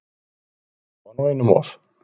Þetta var nú einum of!